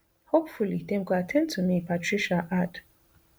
hopefully dem go at ten d to me patricia add